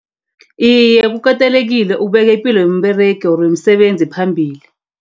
Iye, kukatelekile ukubeka ipilo yomberegi or yomsebenzi phambili.